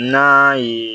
N'a ye